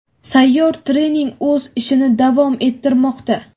Sayyor trening o‘z ishini davom ettirmoqda:.